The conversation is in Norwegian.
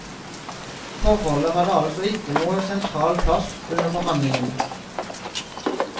Forholdet hadde altså ikke noen sentral plass under forhandligene.